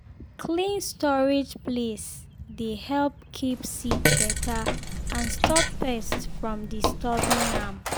clean storage place dey help keep seed better and stop pest from disturbing am